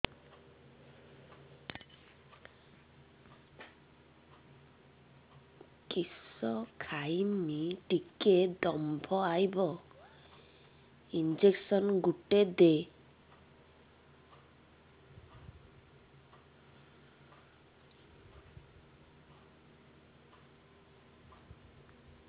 କିସ ଖାଇମି ଟିକେ ଦମ୍ଭ ଆଇବ ଇଞ୍ଜେକସନ ଗୁଟେ ଦେ